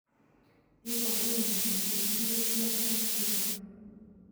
Iporu ne kole itinye Pearson syndrome?